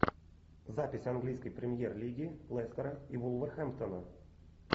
запись английской премьер лиги лестера и вулверхэмптона